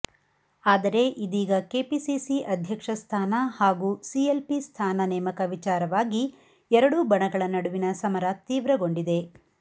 ಆದರೆ ಇದೀಗ ಕೆಪಿಸಿಸಿ ಅಧ್ಯಕ್ಷ ಸ್ಥಾನ ಹಾಗೂ ಸಿಎಲ್ಪಿ ಸ್ಥಾನ ನೇಮಕ ವಿಚಾರವಾಗಿ ಎರಡೂ ಬಣಗಳ ನಡುವಿನ ಸಮರ ತೀವ್ರಗೊಂಡಿದೆ